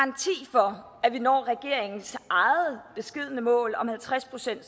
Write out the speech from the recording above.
der er vi når regeringens eget beskedne mål om halvtreds procent